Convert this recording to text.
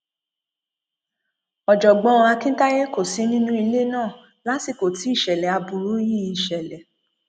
ọjọgbọn akintaye kò sí nínú ilé náà lásìkò tí ìṣẹlẹ aburú yìí ṣẹlẹ